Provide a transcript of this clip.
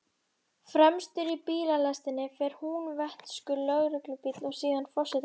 Fremstur í bílalestinni fer húnvetnskur lögreglubíll, síðan forsetabíllinn.